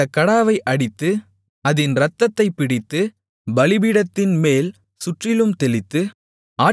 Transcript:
அந்தக் கடாவை அடித்து அதின் இரத்தத்தைப் பிடித்து பலிபீடத்தின் மேல் சுற்றிலும் தெளித்து